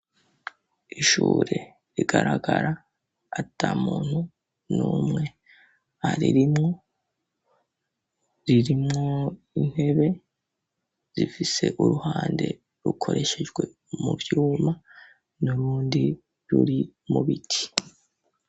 Ishure rigaragara ata muntu n’umwe aririmwo ,ririmwo intebe ,rifise uruhande rukoreshejwe mu vyuma ,n’urundi ruri mu biti.